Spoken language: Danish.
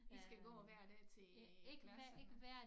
I skal gå hver dag til klasserne